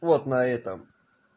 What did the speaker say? вот на этом